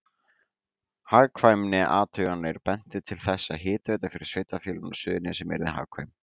Hagkvæmniathuganir bentu til þess að hitaveita fyrir sveitarfélögin á Suðurnesjum yrði hagkvæm.